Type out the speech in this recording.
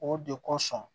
O de kosɔn